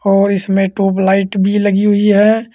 और इसमें ट्यूबलाइट भी लगी हुई है।